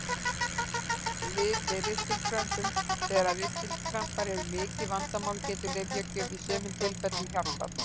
Lyf við ristilkrömpum Þegar ristilkrampar eru mikið vandamál getur lyfjagjöf í sumum tilfellum hjálpað.